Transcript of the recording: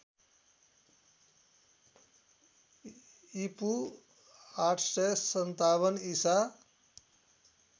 ईपू ८५७ ईसा